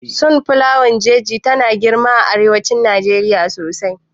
Sun flawar jeji tana girma a arewacin Najeriya sosai